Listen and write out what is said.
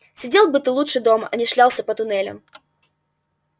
сидел бы ты лучше дома а не шлялся по туннелям